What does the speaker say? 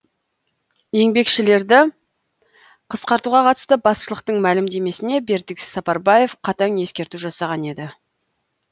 еңбекшілерді қысқартуға қатысты басшылықтың мәлімдемесіне бердібек сапарбаев қатаң ескерту жасаған еді